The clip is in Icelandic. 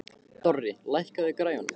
Dorri, lækkaðu í græjunum.